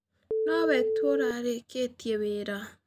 No we tu ũtarĩkĩtie wĩra.